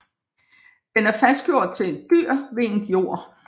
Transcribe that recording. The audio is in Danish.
Den er fastgjort til et dyr ved en gjord